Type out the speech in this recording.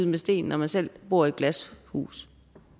med sten når man selv bor i et glashus